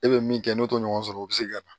E bɛ min kɛ n'o t'o ɲɔgɔn sɔrɔ o bɛ se ka na